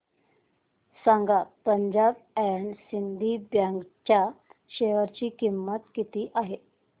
सांगा Punjab and Sind bank च्या share ची किंमत किती आहे